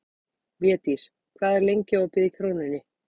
Védís, hvað er lengi opið í Krónunni?